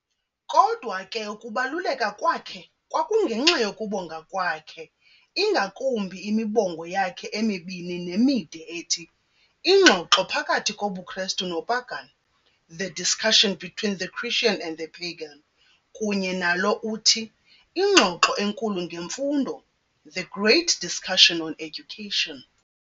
Kodwa ke ukubaluleka kwakhe kwakungenxa yokubonga kwakhe, ingakumbi imibongo yakhe emibini nemide ethi, Ingxoxo phakathi kobuKristu noPagan, The Discussion between the Christian and the Pagan, kunye nalo uthi, Ingxoxo enkulu ngeMfundo, The Great Discussion on Education.